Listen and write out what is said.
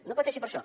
no pateixi per això